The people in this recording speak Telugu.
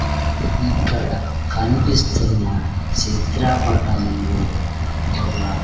ఇక్కడ కనిపిస్తున్న చిత్రపటంలో యోగ.